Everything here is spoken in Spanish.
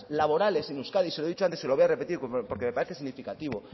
laborales en euskadi se lo he dicho antes se lo voy a repetir porque me parece significativo